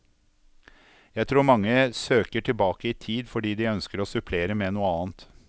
Jeg tror mange søker tilbake i tid fordi de ønsker å supplere med noe annet.